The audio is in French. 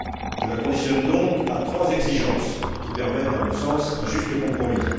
Je la conditionne donc à trois exigences qui permettent, à mon sens, un juste compromis.